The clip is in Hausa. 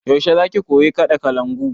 Yaushe za ki koyi kaɗa kalangu?